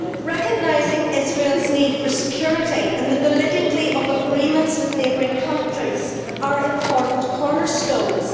Recognition of Israel's need for security and the validity of agreements with neighbouring countries are important cornerstones.